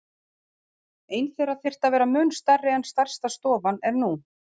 Ein þeirra þyrfti að vera mun stærri en stærsta stofan er nú.